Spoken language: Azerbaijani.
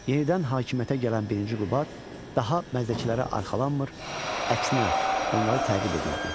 Yenidən hakimiyyətə gələn Birinci Qubad daha məzdəkilərə arxalanmır, əksinə, onları təqib edirdi.